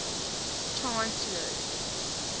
chancellors